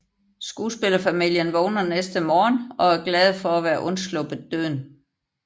Skuespillerfamilien vågner næste morgen og er glade for at være undsluppet døden